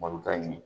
Malo t'a ɲɛ